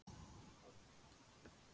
Samt er ég hræddur.